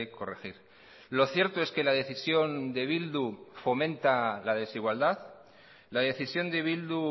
corregir lo cierto es que la decisión de bildu fomenta la desigualdad la decisión de bildu